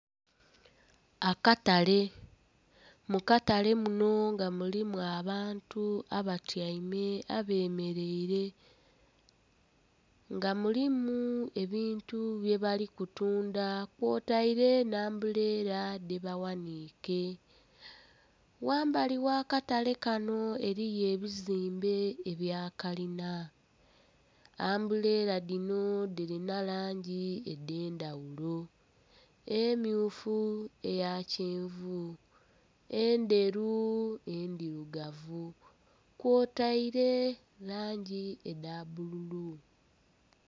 Akatale, mu katale munho nga mulimu abantu abatyaime...abemeleile. Nga mulimu ebintu byebali kutundha, kwotaire nhi ambuleela dhebaghaniike. Ghambali gh'akatale kano eliyo ebizimbe ebya kalina. Ambuleela dhino dhilina langi edh'endhaghulo - emmyufu, eya kyenvu, endheru, endhirugavu- kwotaire langi edha bbululu.